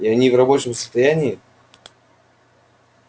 и они в рабочем состоянии